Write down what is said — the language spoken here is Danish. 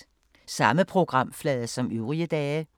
Samme programflade som øvrige dage